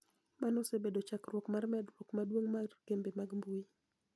Mano osebedo chakruok mar medruok maduong ' mar kembe mag mbui.